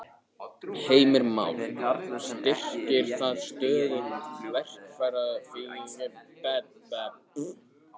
Heimir Már: Styrkir það stöðu verkalýðshreyfingarinnar?